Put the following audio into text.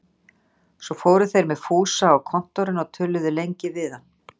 Svo fóru þeir með Fúsa á Kontórinn og töluðu lengi við hann.